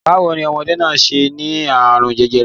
Báwo ní ọmọdé náà ṣe ní àrùn jẹjẹrẹ?